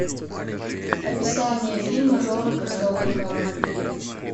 описание фильма жоры крыжовникова